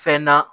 Fɛn na